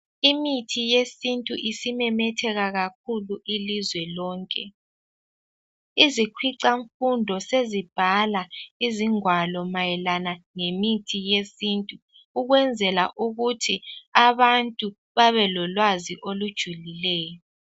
Imithi yesintu isimemetheka kakhulu ilizwe lonke. Izikhwicamfundo sezibhala izingwalo mayelana ngemithi yesintu ukwenzela ukuthi abantu babe ololwazi olujulileyo.